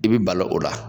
I bi balo o la